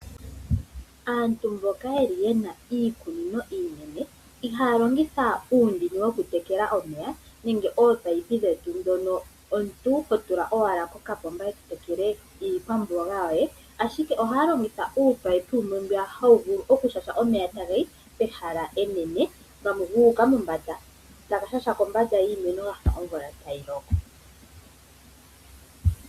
Aantu mboka yeli yena iikunino iinene ihaya longitha uundini wokutekela omeya nenge ominino dhetu ndhono omuntu hotula owala kokapomba eto tekele iikwamboga yoye. Ashike ohaya longitha uumunino wumwe mbu hawu vulu okushasha omeya taga yi pehala enene gamwe guuka mombanda etaga shasha kombanda yiimeno gafa omvula tayi loko.